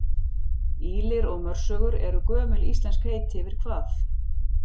Ýlir og mörsögur eru gömul íslensk heiti yfir hvað?